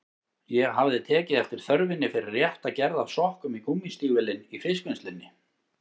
Ég hafði tekið eftir þörfinni fyrir rétta gerð af sokkum í gúmmístígvélin í fiskvinnslunni.